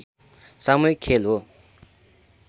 सामूहिक खेल हो